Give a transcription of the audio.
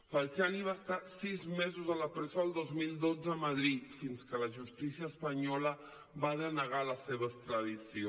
falciani va estar sis mesos a la presó el dos mil dotze a madrid fins que la justícia espanyola va denegar la seva extradició